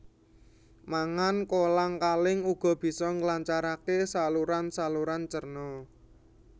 Mangan kolang kaling uga bisa nglancaraké saluranSaluran cerna